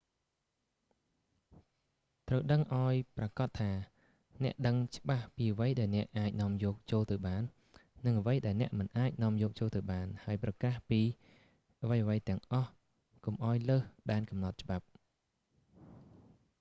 ត្រូវដឹងឱ្យប្រាកដថា អ្នកដឹងច្បាស់ពីអ្វីដែលអ្នកអាចនាំយកចូលទៅបាន និងអ្វីដែលអ្នកមិនអាចនាំយកចូលទៅបាន ហើយប្រកាសពីអ្វីៗទាំងអស់កុំឱ្យលើសដែនកំណត់ច្បាប់